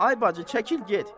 Ay bacı, çəkil get.